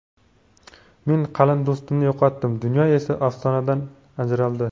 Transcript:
Men qalin do‘stimni yo‘qotdim, dunyo esa afsonadan ajraldi.